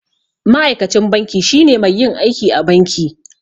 Ma'aikacin banki shine mai yin aiki a banki.